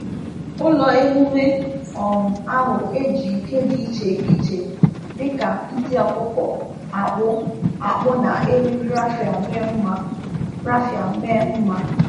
Ụlọ emume um ahụ e ji nke dị iche iche dị ka ntị ọkụkọ akpụ akpụ na eriri raffia mee mma. raffia mee mma.